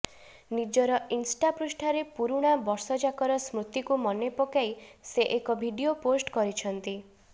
ନିଜର ଇନ୍ଷ୍ଟା ପୃଷ୍ଠାରେ ପୁରୁଣା ବର୍ଷଯାକର ସ୍ମୃତିକୁ ମନେପକାଇ ସେ ଏକ ଭିଡିଓ ପୋଷ୍ଟ କରିଛନ୍ତି